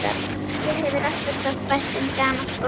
Mér hefur alltaf þótt vænt um gamalt fólk.